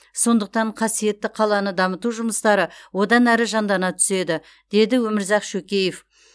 сондықтан қасиетті қаланы дамыту жұмыстары одан ары жандана түседі деді өмірзақ шөкеев